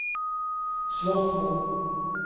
Svorkmo